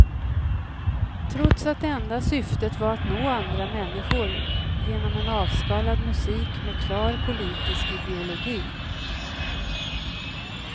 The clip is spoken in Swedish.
Trots att det enda syftet var att nå andra människor, genom en avskalad musik med klar politisk ideologi.